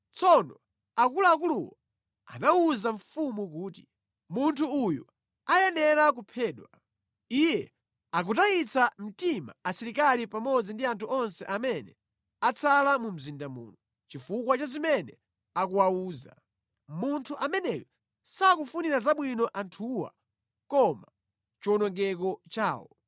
Tsono akuluakuluwo anawuza mfumu kuti, “Munthu uyu ayenera kuphedwa. Iye akutayitsa mtima asilikali pamodzi ndi anthu onse amene atsala mu mzinda muno, chifukwa cha zimene akuwawuza. Munthu ameneyu sakufunira zabwino anthuwa koma chiwonongeko chawo.”